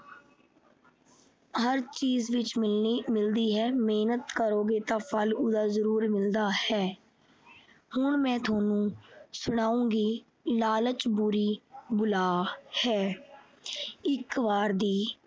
ਹਰ ਚੀਜ ਵਿੱਚ ਮਿਲਦੀ ਹੈ। ਮਿਹਨਤ ਕਰੋਗੇ ਤਾਂ ਉਹਦਾ ਫਲ ਜਰੂਰ ਮਿਲਦਾ ਹੈ। ਹੁਣ ਮੈਂ ਤੁਹਾਨੂੰ ਸੁਣਾਇਗੀ ਲਾਲਚ ਬੁਰੀ ਬਲਾ ਹੈ। ਇੱਕ ਵਾਰ ਦੀ